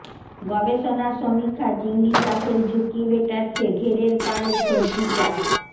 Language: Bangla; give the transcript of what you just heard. গবেষণা সমীক্ষা চিংড়ি চাষের ঝুঁকি মেটাচ্ছে ঘেরের পাড়ের সবজি চাষ